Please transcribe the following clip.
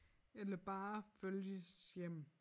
Eller bare følges hjem